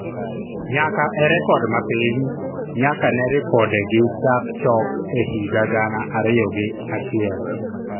nyaka e rekod ma piny nyaka ne ripode gi chak chok e higa gana ariyo gi achiel